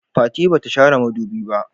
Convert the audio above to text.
Fati ba ta share madubi ba.